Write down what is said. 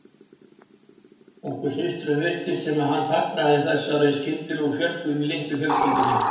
Okkur systrum virtist sem hann fagnaði þessari skyndilegu fjölgun í litlu fjölskyldunni.